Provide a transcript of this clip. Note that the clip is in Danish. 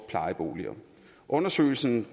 plejeboliger undersøgelsen